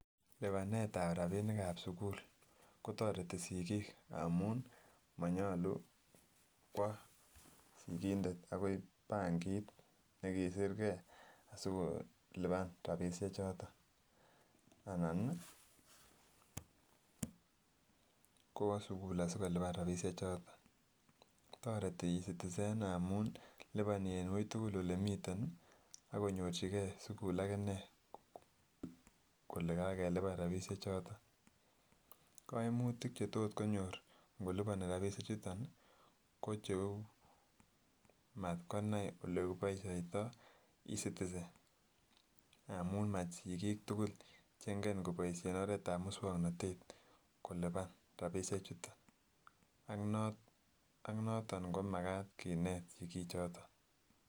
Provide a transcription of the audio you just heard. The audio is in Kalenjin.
Libanetab rabinikab sukul kotoreti sikik amun monyolu kwoo sikindet akoi benkit nekisirkee asikoliban rabishe choton anan kwoo sukul asikoliban rabishe choton, ko toreti ecitizen amuun kiliboni en uitukul elee imiten ak konyorchikee sukul ak inee kolee kakeliban rabishe choton, koimutik chetot konyor ng'oliboni rabishechuton ko cheuu matkonai olekiboishoitoi ecitizen amun mosikik tukul cheng'en koboishen oretab muswoknotet koliban rabishe chuton ak noton komakat kinet sikichoton.